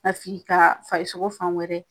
Ka sigi ka farikolo fan wɛrɛ.